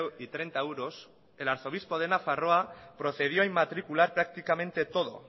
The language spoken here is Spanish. y treinta euros el arzobispo de nafarroa procedió a inmatricular prácticamente todo